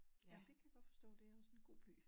Ja det kan jeg godt forstå det også en god by